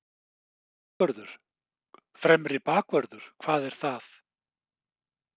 Fremri bakvörður, hvað er það?